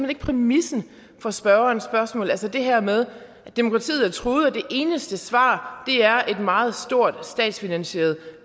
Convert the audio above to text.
ikke præmissen for spørgerens spørgsmål altså det her med at demokratiet er truet og at det eneste svar er et meget stort statsfinansieret